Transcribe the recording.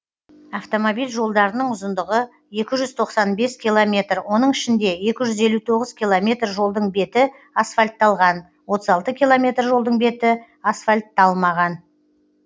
автомобиль жолдарының ұзындығы екі жүз тоқсан бес километр оның ішінде екі жүз елу алты километр жолдың беті асфальтталған отыз алты километр жолдың беті асфальтталмаған